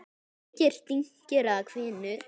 Engir dynkir eða hvinur.